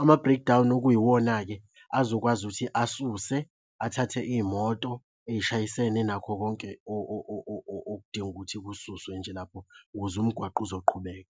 ama-breakdown okuyiwona-ke azokwazi ukuthi asuse, athathe iy'moto ey'shayisene nakho konke okudinga ukuthi kususwe nje lapho ukuze umgwaqo uzoqhubeka.